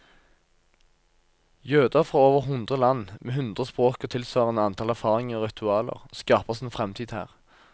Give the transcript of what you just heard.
Jøder fra over hundre land, med hundre språk og tilsvarende antall erfaringer og ritualer, skaper sin fremtid her.